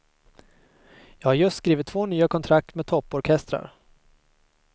Jag har just skrivit två nya kontrakt med topporkestrar.